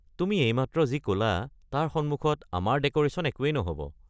তুমি এইমাত্ৰ যি ক'লা তাৰে সন্মুখত আমাৰ ডেক'ৰেশ্যন একোৱেই নহ'ব।